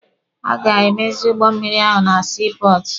Ha ga-emezi ụgbọ mmịrị ahụ na sii pọọtụ.